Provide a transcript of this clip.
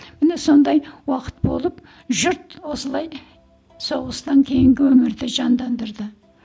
міне сондай уақыт болып жұрт осылай соғыстан кейінгі өмірді жандандырды